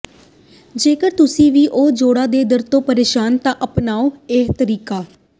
ਜੇਕਰ ਤੁਸੀਂ ਵੀ ਹੋ ਜੋੜਾਂ ਦੇ ਦਰਦ ਤੋਂ ਪ੍ਰੇਸ਼ਾਨ ਤਾਂ ਅਪਣਾਓ ਇਹ ਤਰੀਕੇ